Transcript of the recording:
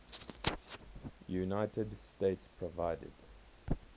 united states provided